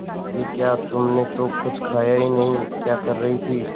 ये क्या तुमने तो कुछ खाया ही नहीं क्या कर रही थी